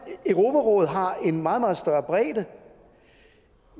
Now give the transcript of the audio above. europarådet har en meget meget større bredde